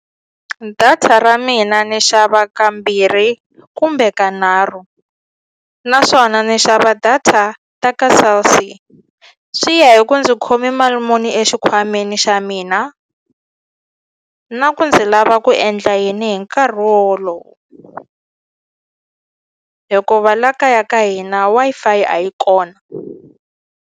Data ra mina ni xava kambirhi kumbe kanharhu naswona ni xava data ta ka Cell C swi ya hi ku ndzi khome mali muni exikhwameni xa mina na ku ndzi lava ku endla yini hi nkarhi wo wolowo hikuva la kaya ka hina Wi-Fi a yi kona.